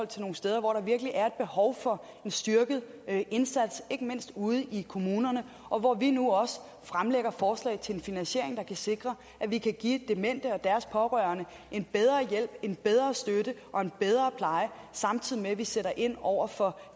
til nogle steder hvor der virkelig er et behov for en styrket indsats ikke mindst ude i kommunerne og hvor vi nu også fremsætter forslag til en finansiering der kan sikre at vi kan give demente og deres pårørende en bedre hjælp en bedre støtte og en bedre pleje samtidig med at vi sætter ind over for